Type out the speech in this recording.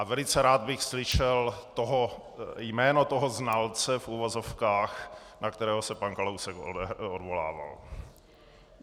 A velice rád bych slyšel jméno toho znalce v uvozovkách, na kterého se pan Kalousek odvolával.